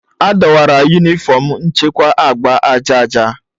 Adọwara Yunifọm nchekwa agba aja aja.